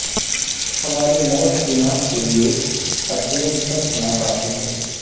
ہماری موت گناہ کے لئے اتون تک ناکافی ہے